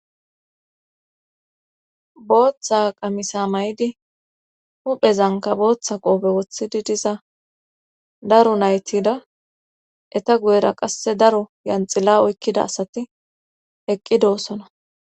booththa qamisa may7idi huphezanka booththa qoobe woththidi diza daro naytida eta guyera qasse daro yanxilla oykkida asati eqqi doosona